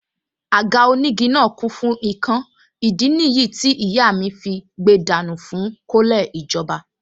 Àga onígi náà kún fún ikán ìdí nìyí tí ìyá fí gbe dànù fún kọ́lẹ̀ ìjọba